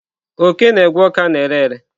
Oke na-egwe ọka na-ere ere.